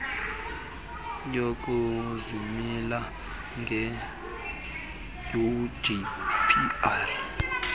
yokuzimela geqe ugqr